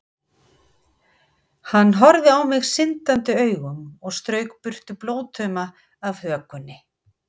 Hann horfði á mig syndandi augum og strauk burtu blóðtauma af hökunni.